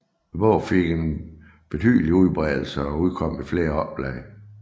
Bogen fik en betydelig udbredelsen og udkom i flere oplag